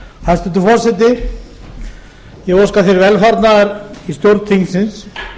hæstvirtur forseti ég óska þér velfarnaðar í stjórn þingsins